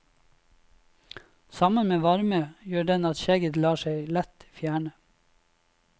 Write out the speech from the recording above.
Sammen med varme, gjør den at skjegget lett lar seg fjerne.